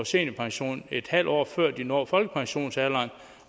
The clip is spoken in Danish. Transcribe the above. seniorpension et halvt år før de når folkepensionsalderen